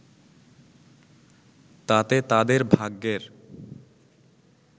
তাতে তাদের ভাগ্যের